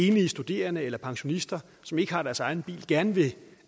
enlige studerende eller pensionister som ikke har deres egen bil gerne vil